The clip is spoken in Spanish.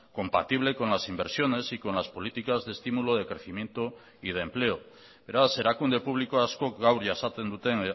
compatible con las inversiones y con las políticas de estímulo de crecimiento y de empleo beraz erakunde publiko askok gaur jasaten duten